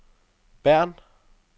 Bern